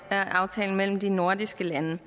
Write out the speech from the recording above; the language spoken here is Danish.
mellem de nordiske lande